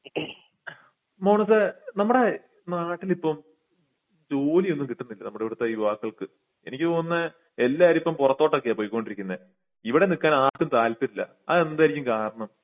മോനുസെ നമ്മടെ നാട്ടിൽ ഇപ്പോം ജോലി ഒന്നും കിട്ടുന്നില്ല നമ്മുടെ ഇവിടുത്തെ യുവാക്കൾക്ക് എനിക്ക് തോന്നുന്നേ എല്ലാരും ഇപ്പോ പൊറത്തോട്ടൊക്കെ പോയ്കൊണ്ടിരിക്കുന്നെ ഇവിടെ നിക്കാൻ ആർക്കും താല്പര്യം ഇല്ല അതെന്തെർക്കും കാരണം